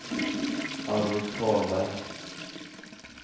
Arvid Karlberg